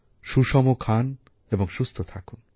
সুষম খাবার খান এবং সুস্থ থাকুন